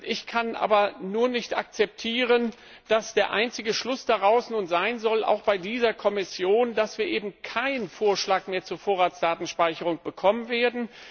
Ich kann nur nicht akzeptieren, dass der einzige Schluss daraus nun sein soll, auch bei dieser Kommission, dass wir eben keinen Vorschlag mehr zur Vorratsdatenspeicherung bekommen werden.